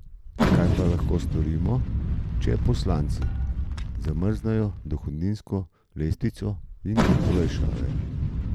Kaj pa lahko storimo, če poslanci zamrznejo dohodninsko lestvico in olajšave?